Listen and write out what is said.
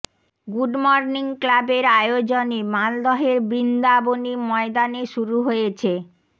good morning ক্লাবের আয়োজনে মালদহের বৃন্দাবনী ময়দানে শুরু হয়েছে